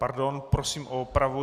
Pardon, prosím o opravu.